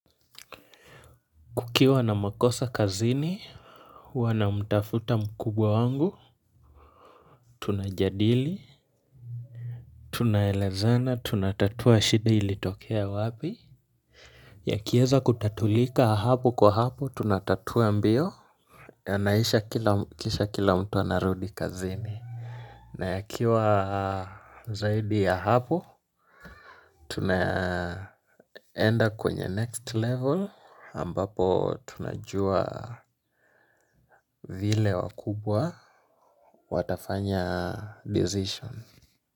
Kukiwa na makosa kazini wanamtafuta mkubwa wangu tunajadili tunaelezana tunatatua shida ilitokea wapi, yakieza kutatulika hapo kwa hapo tunatatua mbio yanaisha kisha kila mtu anarudi kazini na yakiwa zaidi ya hapo tunaenda kwenye next level ambapo tunajua vile wakubwa watafanya decision.